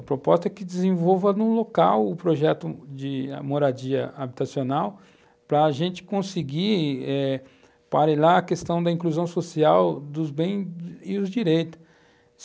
A proposta é que desenvolva em um local o projeto de moradia habitacional para a gente conseguir eh a questão da inclusão social dos bens e os direitos.